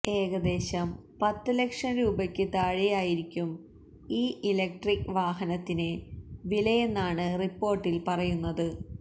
ഏകദേശം പത്ത് ലക്ഷം രൂപയ്ക്ക് താഴെയായിരിക്കും ഈ ഇലക്ട്രിക്ക് വാഹനത്തിന് വിലയെന്നാണ് റിപ്പോര്ട്ടില് പറയുന്നത്